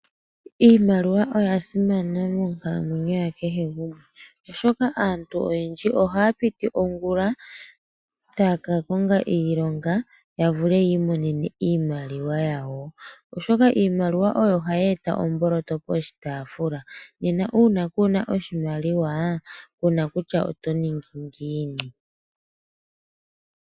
Iimaliwa oya simana monkalamwenyo yakehe gumwe, oshoka aantu oyendji oha piti ongula takakonga iilonga yavule yimonene iimaliwa yawo, oshoka iimaliwa oyo hayeta omboloto poshitafula nena una kuna oshimaliwa kuna kutya otoningi ngiini.